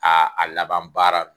Aa a laban baara